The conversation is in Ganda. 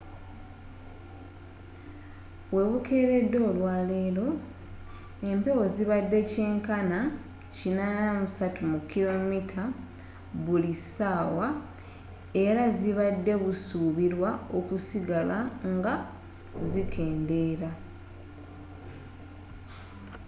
webukeeredde olwaleero empewo zibadde kyenkana 83 km/h era zibadde busuubirwa okusigala nga zikendeera